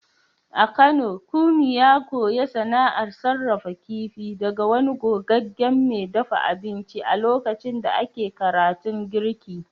A Kano Kunmi ya koyi sana’ar sarrafa kifi daga wani gogaggen mai dafa abinci a lokacin da ake karatun girki.